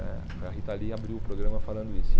né foi a Rita Lee abriu o programa falando isso.